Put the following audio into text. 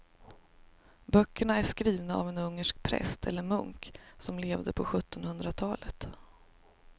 Böckerna är skrivna av en ungersk präst eller munk som levde på sjuttonhundratalet.